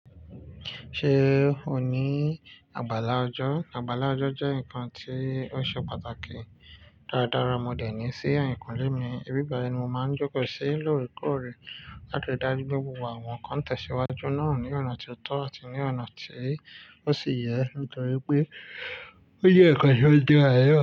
Ṣé o ní abala ọjọ́? Abala ọjọ́ jẹ́ nǹkan tí ó ṣe pàtàkì dáradára. Mo dènì sí ẹ̀yìnkúnlẹ́ mi, ibi báyì ni màá ń jókòó sí lóòrèkóòrè láti rí dájú pé gbogbo àwọn nǹkan tẹ̀síwájú náà ní ọ̀nà tó tọ́ àti ní ọ̀nà tí ó sì yẹ, nítorí pé ó jẹ́ ǹkan tí ó dára náà.